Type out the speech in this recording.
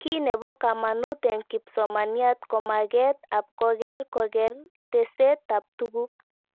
Kiy nepo kamanut eng' kipsomaniat ko maget ab koker koker teset ab tuguk